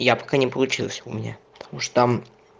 я пока не получилось у меня потому что там